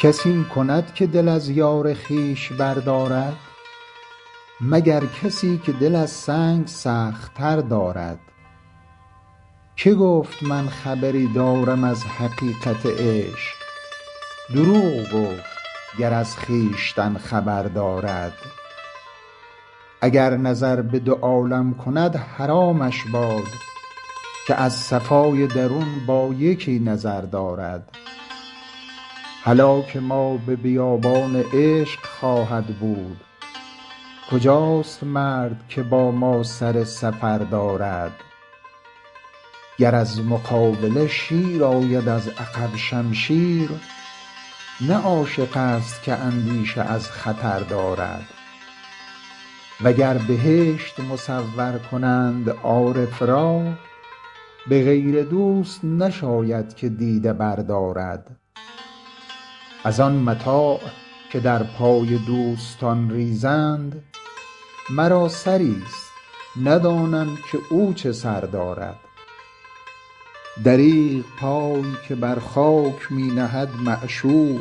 کس این کند که دل از یار خویش بردارد مگر کسی که دل از سنگ سخت تر دارد که گفت من خبری دارم از حقیقت عشق دروغ گفت گر از خویشتن خبر دارد اگر نظر به دو عالم کند حرامش باد که از صفای درون با یکی نظر دارد هلاک ما به بیابان عشق خواهد بود کجاست مرد که با ما سر سفر دارد گر از مقابله شیر آید از عقب شمشیر نه عاشق ست که اندیشه از خطر دارد و گر بهشت مصور کنند عارف را به غیر دوست نشاید که دیده بردارد از آن متاع که در پای دوستان ریزند مرا سری ست ندانم که او چه سر دارد دریغ پای که بر خاک می نهد معشوق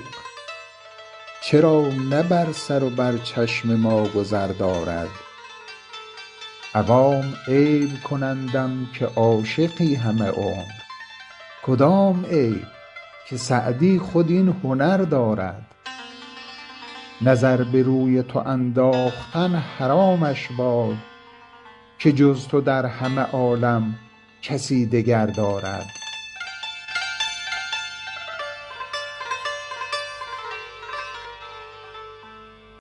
چرا نه بر سر و بر چشم ما گذر دارد عوام عیب کنندم که عاشقی همه عمر کدام عیب که سعدی خود این هنر دارد نظر به روی تو انداختن حرامش باد که جز تو در همه عالم کسی دگر دارد